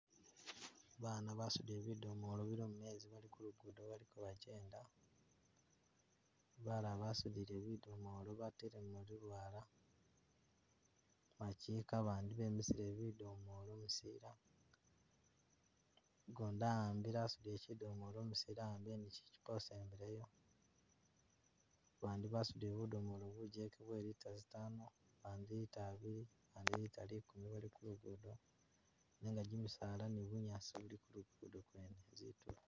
Baana basudile bidomolo bilimu mezi, bali ku lugudo baliko bagyenda, balala basudile bidomolo batelemu lulwaala bukika bandi bemisile bidomolo busila, ugundi a'ambile asudile kidomolo umusinde a'ambile ni kichupa usembileyo, bandi basudile budomolo bugyeke bwe litre zitaano, bandi litre abili, bandi litre likumi bali ku lugudo nenga gimisaala ni bunyaasi bili kulugudo kwene zitulo.